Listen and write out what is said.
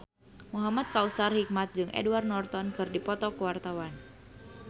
Muhamad Kautsar Hikmat jeung Edward Norton keur dipoto ku wartawan